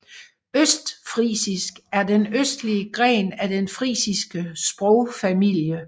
Østfrisisk er den østlige gren af den frisiske sprogfamilie